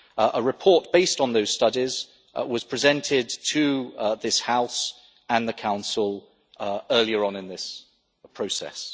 text. A report based on those studies was presented to this House and the Council earlier on in this process.